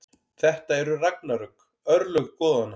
Þetta eru ragnarök, örlög goðanna.